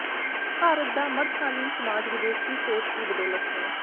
ਭਾਰਤ ਦਾ ਮੱਧ ਕਾਲੀਨ ਸਮਾਜ ਵਿਦੇਸ਼ੀ ਸੋਚ ਦੀ ਬਦੋਲਤ ਹੈ